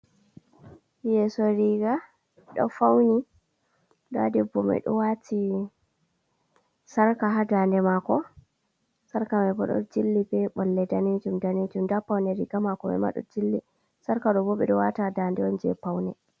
Yeeso riiga ɗo fauni, ɲda debbo mai ɗo waati sarka haa daɲde maako. Sarka mai bo ɗo jilli be ɓolle danejum-danejum. Nda paune riiga maako mai ma ɗo jilli. Sarka ɗo bo, ɓe ɗo wata haa daɲde on je paune.